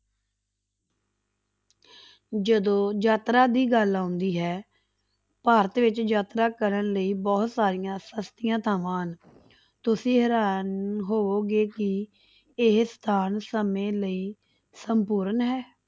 ਜਦੋਂ ਯਾਤਰਾ ਦੀ ਗੱਲ ਆਉਂਦੀ ਹੈ ਭਾਰਤ ਵਿੱਚ ਯਾਤਰਾ ਕਰਨ ਲਈ ਬਹੁਤ ਸਾਰੀਆਂ ਸਸਤੀਆਂ ਥਾਵਾਂ ਹਨ ਤੁਸੀਂ ਹੈਰਾਨ ਹੋਵੇਗੇ ਕਿ ਇਹ ਸਥਾਨ ਸਮੇਂ ਲਈ ਸੰਪੂਰਨ ਹੈ।